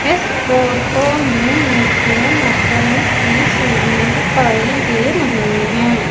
इस फोटो में मुझे लकड़ी की सीढ़ियां दिखाई दे रहीं हैं।